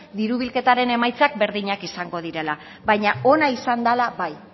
diru bilketaren emaitzak berdinak izango direla baina ona izan dala bai